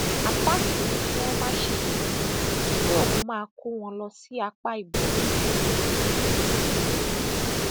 atass ní kí wọn má ṣèyọnu pé òun máa kó wọn wọn lọ sí apá ibòmíín ní bíìsì yẹn